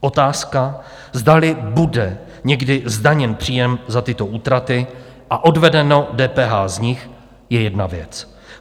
Otázka, zdali bude někdy zdaněn příjem za tyto útraty a odvedeno DPH z nich, je jedna věc.